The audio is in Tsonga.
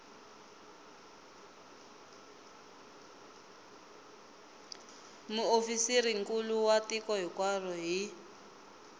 muofisirinkulu wa tiko hinkwaro hi